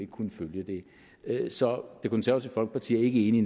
kunne følge det så det konservative folkeparti er ikke enig